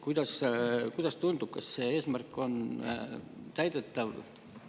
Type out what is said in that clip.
Kuidas tundub, kas see eesmärk on täidetav?